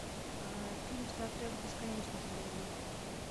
фильм стартрек бесконечность найди